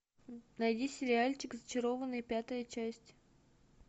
найди сериальчик зачарованные пятая часть